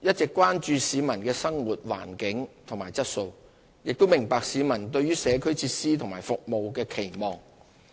一直關注市民的生活環境和質素，亦明白市民對於社區設施和服務的期望。